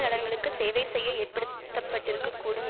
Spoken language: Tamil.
நலன்களுக்கு சேவை செய்ய ஏற்படுத்தப்பட்டிருக்கக் கூடும்